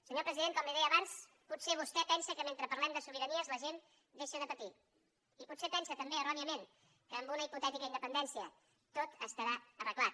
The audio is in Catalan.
senyor president com li deia abans potser vostè pensa que mentre parlem de sobiranies la gent deixa de patir i potser pensa també erròniament que amb una hipotètica independència tot estarà arreglat